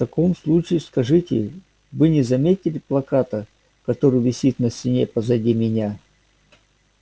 в таком случае скажите вы не заметили плаката который висит на стене позади меня